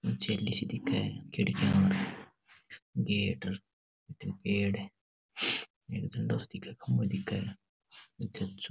छैली सी दिखे हैं खिड़कियां और गेट और पेड़ है एक खम्बे दिखे हैं अच्छे अच्छो।